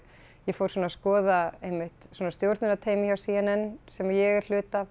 fór svona að skoða einmitt svona stjórnunarteymið hjá c n n sem ég er hluti af